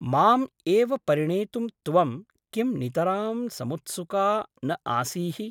माम् एव परिणेतुं त्वं किं नितरां समुत्सुका न आसीः ?